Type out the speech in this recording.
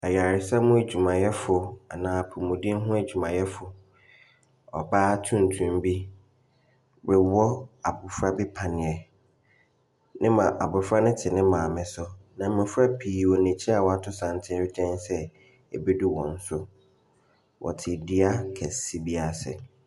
Ayaresa mu adwumayɛfo anaa apɔwden mu adwumayɛfo ɔbaa tuntum bi rewɔ abɔfra bi panneɛ, ne ma abɔfra no te ne maame so. Na mmɔfra pii wɔ n’akyi a wɔato santene sɛ ɛbɛdu wɔn so, wɔte dua kɛseɛ bi ase.